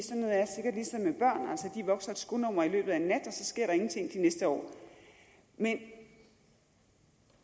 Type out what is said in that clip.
vokser et skonummer i løbet af én nat og så sker der ingenting de næste år men